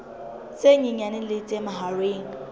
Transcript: tse nyenyane le tse mahareng